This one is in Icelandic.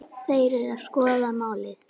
Þeir eru að skoða málið.